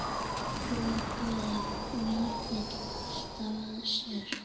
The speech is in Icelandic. Lokaði Vífill alltaf að sér?